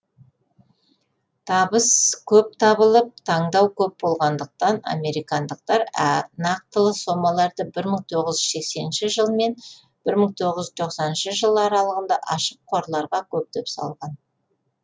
табыс көп табылып таңдау көп болғандықтан американдықтар нақтылы сомаларды бір мың тоғыз жүз сексенінші жыл мен бір мың тоғыз жүз тоқсаныншы жыл аралығында ашық қорларға көптеп салды